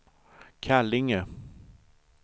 Kallinge